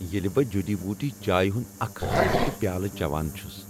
ییٚلہ بہٕ جڈی بوٗٹی چائے ہنٛد اکھ ہلکہٕ پیالہ چَوان چھس۔